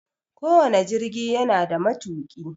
Ko wane jirgi yana da matuƙi.